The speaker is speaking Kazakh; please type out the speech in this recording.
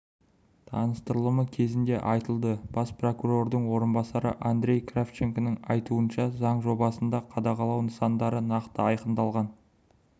таныстырылымы кезінде айтылды бас прокурордың орынбасары андрей кравченконың айтуынша заң жобасында қадағалау нысандары нақты айқындалған